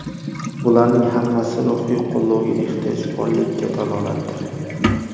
Bularning hammasi ruhiy qo‘llovga ehtiyoj borligiga dalolatdir.